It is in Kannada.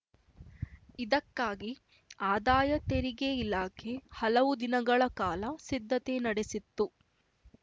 ಇದಕ್ಕಾಗಿ ಆದಾಯ ತೆರಿಗೆ ಇಲಾಖೆ ಹಲವು ದಿನಗಳ ಕಾಲ ಸಿದ್ಧತೆ ನಡೆಸಿತ್ತು